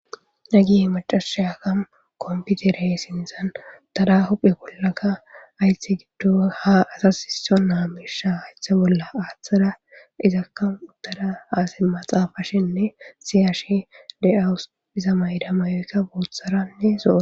Hagge maccashiyaka kommpitera sinththan uttadas huphphe bollaka hayththa giddon ha asas sissona mishdha hayththe bolla aththada izzaka ha simma xaafashene siyashshe dawusu izza mayida mayoyika booththaranne zo'ora.